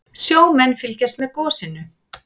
Sjómenn fylgjast með gosinu